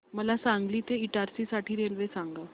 मला सांगली ते इटारसी साठी रेल्वे सांगा